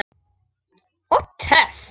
Og töff!